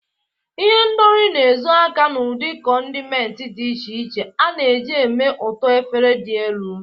Ihendori na-ezo aka n'ụdị condiments dị iche iche a na-eji eme ka ụtọ efere dị elu.